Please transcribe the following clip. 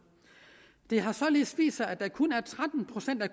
det har således vist sig at der kun er tretten procent af